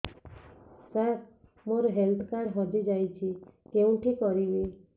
ସାର ମୋର health card ହଜି ଯାଇଛି କେଉଁଠି କରିବି